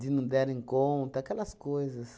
não derem conta, aquelas coisas.